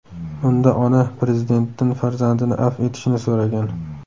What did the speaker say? Unda ona Prezidentdan farzandini afv etishni so‘ragan.